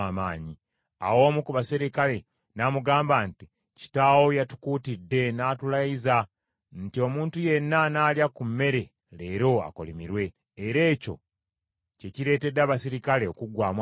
Awo omu ku baserikale n’amugamba nti, “Kitaawo yatukuutidde n’atulayiza nti, ‘Omuntu yenna anaalya ku mmere leero akolimirwe.’ Era ekyo kye kireetedde abaserikale okuggwaamu amaanyi.”